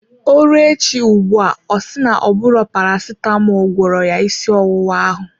Ọ rụọ echi ugbua ọ si na-ọbụro Paracetamọl gwọrọ ya ịsị ọwụwa ahụ.